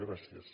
gràcies